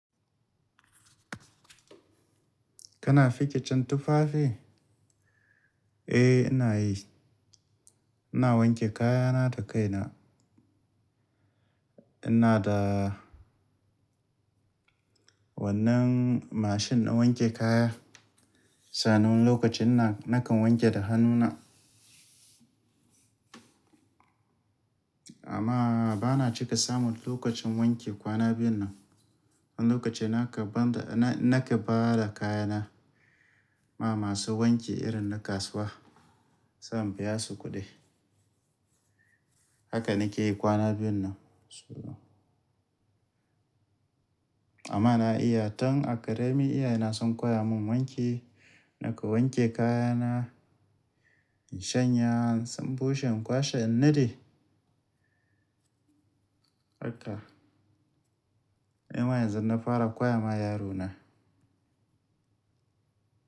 Kana fikicin tufafi? Eh ina yi. Ina wanke kayana da kaina. Ina da wannan mashin na wanke kaya. Sanin lokacin nan nakan wanke da hannuna. Amma bana cika samun lokacin wanke kwana biyun nan. Lokacin naka banda na nake ba da kayana ma masu wanki irin na kasuwa san biya su kuɗi. Haka nike yi kwana biyun nan. Amma na iya tan a ƙarami iyaye na sun koya mun wanke, nakan wanke kayana, in shanya, in bushe, in kwashe, in nade. Haka. Yanzu na fara koya ma yarona.